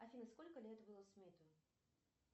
афина сколько лет уиллу смиту